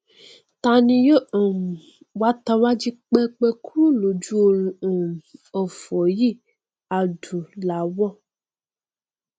ta ni yó um wa tawá jí pẹpẹ kúrò lójú orun um òfò yìí adúláwọ